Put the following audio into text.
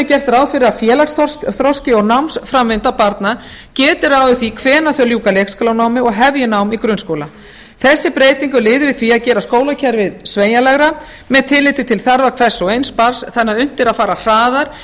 gert ráð fyrir að félagsþroski og námsframvinda barna geti ráðið því hvenær þau ljúka leikskólanámi og hefji nám í grunnskóla þessi breyting er liður í því að gera skólakerfið sveigjanlegra með tilliti til þarfa hvers og eins barns þannig að unnt er að fara hraðar